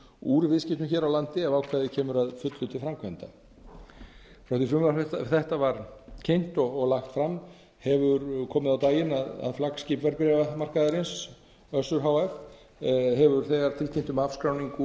úr viðskiptum hér á landi ef ákvæðið kemur að fullu til framkvæmda frá því að frumvarp þetta var kynnt og lagt fram hefur komið á daginn að flaggskip verðbréfamarkaðarins össur h f hefur þegar tilkynnt um afskráningu